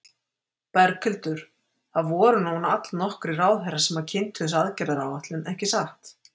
Berghildur, það voru nú allnokkrir ráðherrar sem kynntu þessa aðgerðaráætlun, ekki satt?